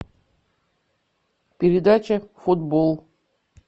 передача футбол